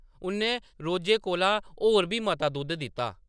उʼन्नै रोजै कोला होर बी मता दुद्ध दित्ता ।